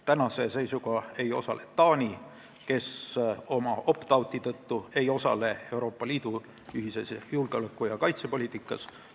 Tänase seisuga ei osale Taani oma opt out'i tõttu Euroopa Liidu ühises julgeoleku- ja kaitsepoliitikas.